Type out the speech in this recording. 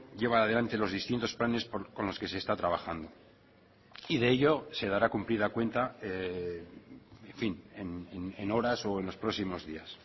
lleva adelante los distintos planes con los que se está trabajando y de ello se dará cumplida cuenta en fin en horas o en los próximos días